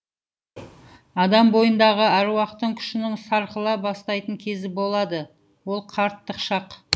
адам бойындағы аруақтың күшінің сарқыла бастайтын кезі болады ол қарттық шақ